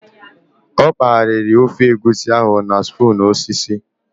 Ọ kpaliri ofe egusi ahụ na spoon osisi